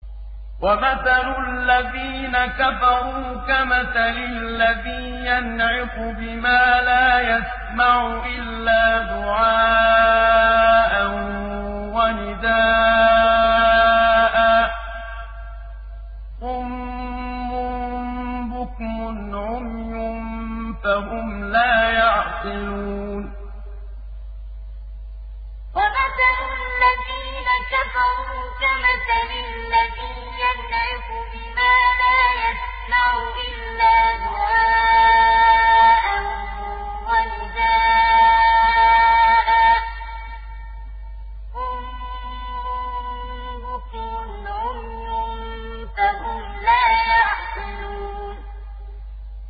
وَمَثَلُ الَّذِينَ كَفَرُوا كَمَثَلِ الَّذِي يَنْعِقُ بِمَا لَا يَسْمَعُ إِلَّا دُعَاءً وَنِدَاءً ۚ صُمٌّ بُكْمٌ عُمْيٌ فَهُمْ لَا يَعْقِلُونَ وَمَثَلُ الَّذِينَ كَفَرُوا كَمَثَلِ الَّذِي يَنْعِقُ بِمَا لَا يَسْمَعُ إِلَّا دُعَاءً وَنِدَاءً ۚ صُمٌّ بُكْمٌ عُمْيٌ فَهُمْ لَا يَعْقِلُونَ